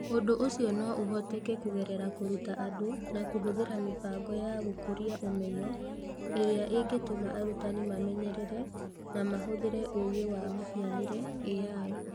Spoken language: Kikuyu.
Ũndũ ũcio no ũhoteke kũgerera kũruta andũ na kũhũthĩra mĩbango ya gũkũria ũmenyo ĩrĩa ĩngĩtũma arutani mamenyerere na mahũthĩre ũũgĩ wa mũhianĩre(AI).